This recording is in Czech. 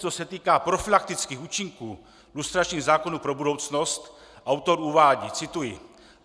Co se týká profylaktických účinků lustračních zákonů pro budoucnost, autor uvádí - cituji: